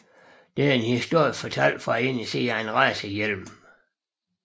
Det er en historie fortalt fra indersiden af en racerhjelm